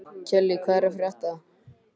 Kellý, hvað er að frétta?